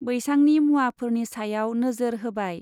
बैसांनि मुवाफोरनि सायाव नोजोर होबाय।